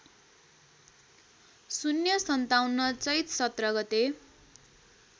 ०५७ चैत १७ गते